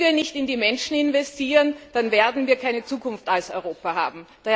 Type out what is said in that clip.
Wenn wir nicht in die Menschen investieren, dann werden wir keine Zukunft als Europa haben!